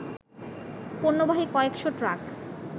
পণ্যবাহী কয়েকশ ট্রাক